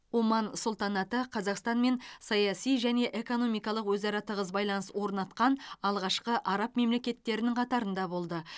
оман сұлтанаты қазақстанмен саяси және экономикалық өзара тығыз байланыс орнатқан алғашқы араб мемлекеттерінің қатарында болды